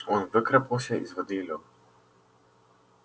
он выкарабкался из воды и лёг